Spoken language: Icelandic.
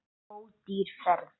Ódýr ferð.